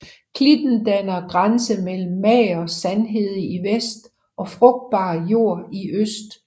Klitten danner grænse mellem mager sandhede i vest og frugbar jord i øst